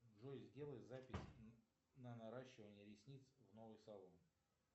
джой сделай запись на наращивание ресниц в новый салон